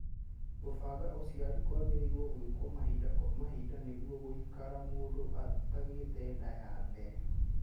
Kũbanga ũciari kwagĩrĩirwo gwĩko mahinda kwa mahinda nĩguo gũikara mũndũ atagĩte nda ya mbere